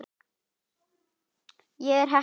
Ég er heppin.